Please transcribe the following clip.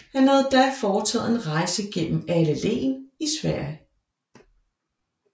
Han havde da foretaget en rejse gennem alle län i Sverige